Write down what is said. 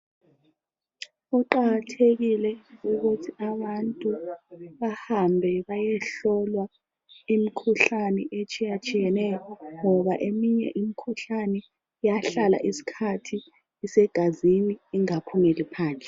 Kuqakathekile ukuthi abantu bahambe bayehlolwa imikhuhlane etshiyatshiyeneyo ngoba eminye imikhuhlane iyahlala isikhathi isegazini ingaphumeli phandle.